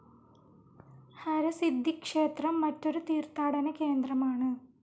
ഹരസിദ്ധി ക്ഷേത്രം മറ്റൊരു തീർത്ഥാടന കേന്ദ്രമാണ്.